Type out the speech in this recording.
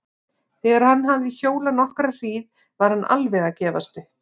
Þegar hann hafði hjólað nokkra hríð var hann alveg að gefast upp.